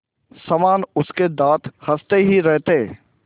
समान उसके दाँत हँसते ही रहते